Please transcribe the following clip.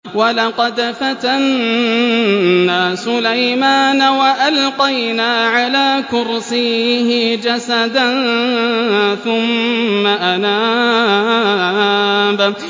وَلَقَدْ فَتَنَّا سُلَيْمَانَ وَأَلْقَيْنَا عَلَىٰ كُرْسِيِّهِ جَسَدًا ثُمَّ أَنَابَ